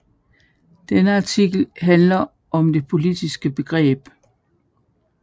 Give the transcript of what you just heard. Denne artikel handler om det politiske begreb